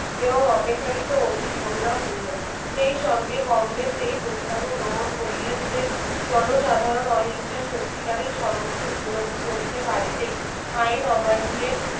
এবং অপেক্ষাকৃত অধিক করুণাপূর্ণ। সেই সঙ্গে কংগ্রেস এই প্রস্তাবও গ্রহণ করিলেন যে, জনসাধারণ অহিংসায় সত্যিকারের স্বরূপকে উপলব্ধি করিতে পারিতেই আইন অমান্যের